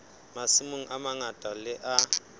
masimong a mang le a